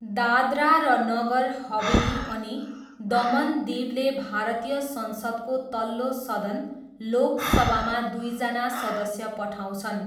दादरा र नगर हवेली अनि दमन दीवले भारतीय संसदको तल्लो सदन लोक सभामा दुईजना सदस्य पठाउँछन्।